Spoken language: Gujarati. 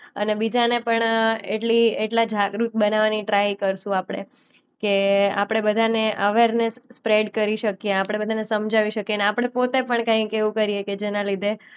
અને બીજાને પણ અ એટલી એટલા જાગૃત બનાવાની ટ્રાય કરશું આપણે કે આપણે બધાને અવેરનેસ સ્પ્રેડ કરી શકીએ. આપણે બધાને સમજાવી શકીએ. ને આપણને પોતે પણ કંઈક એવું કરીએ કે જેના લીધે